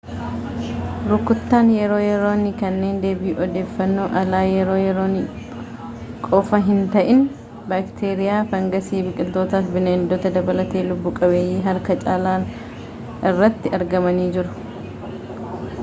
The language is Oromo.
rukuttaan yeroo yeroonii kanneen deebii odeeffannoo alaa yeroo yeroonii qofa hinta’in baakteeriyaa fangasii biqiltootaa fi bineeldota dabalatee lubbu-qabeeyyii harka caalan irratti argamanii jiru